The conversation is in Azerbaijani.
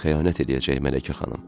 Xəyanət eləyəcək Mələkə xanım.